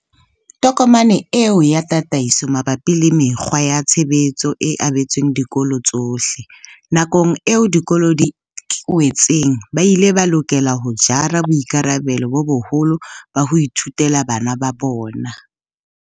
Tokomane eo ya tataiso mabapi le mekgwa ya tshebetso e abetswe dikolo tsohle. Nakong eo dikolo di kwetsweng, ba ile ba lokela ho jara boikarabelo bo boholo ba ho ithutela bana ba bona.